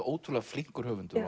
ótrúlega flinkur höfundur